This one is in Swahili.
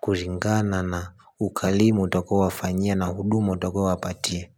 Kulingana na ukarimu utakaowafanyia na hudumu utakaowapatia.